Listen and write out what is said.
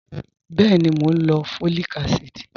Bẹẹni, mọ̀ n lọ fọ́líìkà àsídì